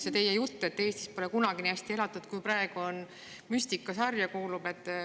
See teie jutt, et Eestis pole kunagi nii hästi elatud kui praegu, kuulub müstikasarja.